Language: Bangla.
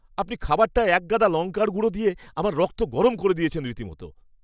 আপনি খাবারটায় একগাদা লঙ্কার গুঁড়ো দিয়ে আমার রক্ত গরম করে দিয়েছেন রীতিমতো!